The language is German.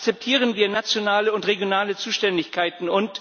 Akzeptieren wir nationale und regionale Zuständigkeiten!